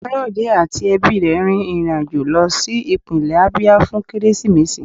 Ọgbẹni Kayode ati ẹbi rẹ rín irín ajọ̀ lọ si ipinle Abia fun Keresimesi